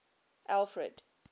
alfred